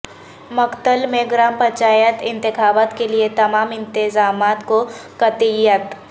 مکتھل میں گرام پنچایت انتخابات کیلئے تمام انتظامات کو قطعیت